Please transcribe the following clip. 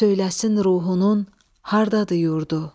Söyləsin ruhunun hardadır yurdu.